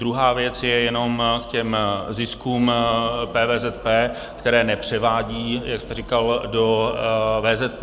Druhá věc je jenom k těm ziskům PVZP, které nepřevádí, jak jste říkal, do VZP.